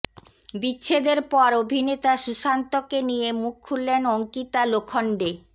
বিচ্ছেদের পর অভিনেতা সুশান্তকে নিয়ে মুখ খুললেন অঙ্কিতা লোখন্ডে